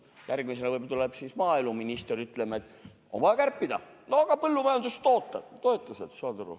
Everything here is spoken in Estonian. Järgmisena tuleb siis võib-olla maaeluminister ja ütleb, et on vaja kärpida, näiteks põllumajandustoetusi.